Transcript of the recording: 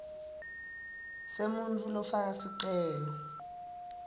semuntfu lofaka sicelo